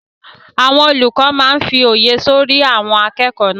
Àwọn olùkọ́ máa n fí òye sọ́rí àwọn akẹ́kọ̀ọ́ náà